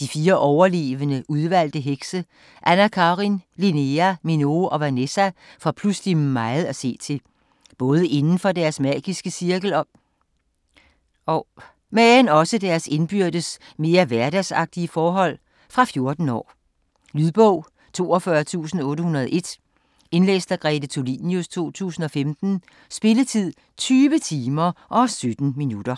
De fire overlevende udvalgte hekse, Anna-Karin, Linnéa, Minoo og Vanessa får pludselig meget at se til - både inden for deres magiske cirkel, men også i deres indbyrdes mere hverdagsagtige forhold. Fra 14 år. Lydbog 42801 Indlæst af Grete Tulinius, 2015. Spilletid: 20 timer, 17 minutter.